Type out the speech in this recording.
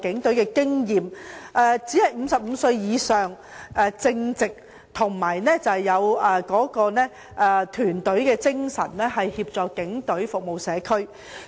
他們只要年過55歲、為人正直又有團隊精神，便可以協助警隊服務社區。